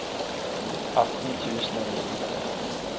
atten tusen og nittitre